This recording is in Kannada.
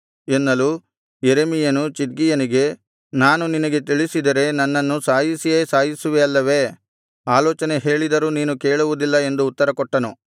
ಎನ್ನಲು ಯೆರೆಮೀಯನು ಚಿದ್ಕೀಯನಿಗೆ ನಾನು ನಿನಗೆ ತಿಳಿಸಿದರೆ ನನ್ನನ್ನು ಸಾಯಿಸಿಯೇ ಸಾಯಿಸುವಿ ಅಲ್ಲವೇ ಆಲೋಚನೆ ಹೇಳಿದರೂ ನೀನು ಕೇಳುವುದಿಲ್ಲ ಎಂದು ಉತ್ತರಕೊಟ್ಟನು